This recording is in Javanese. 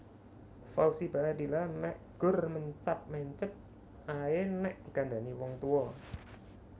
Fauzi Baadila mek gur mencap mencep ae nek dikandhani wong tuwa